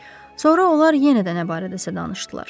Sonra onlar yenə də nə barədəsə danışdılar.